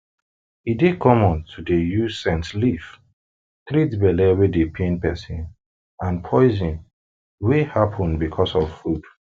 e dey common to dey use scent leaf treat belle wey dey pain peson and poison wey happen becos of food